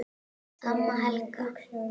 Amma Helga.